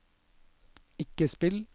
ikke spill